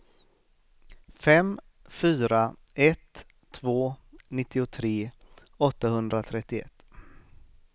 fem fyra ett två nittiotre åttahundratrettioett